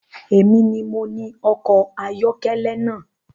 Èmi ni mo ni ọkọ̀ ayọ́kẹ́lẹ́ na